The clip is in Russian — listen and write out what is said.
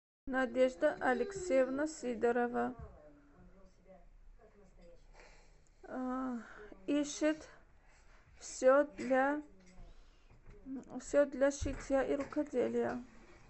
надежда алексеевна сидорова ищет все для шитья и рукоделия